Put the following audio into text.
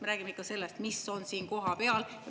Me räägime ikka sellest, mis on siin kohapeal.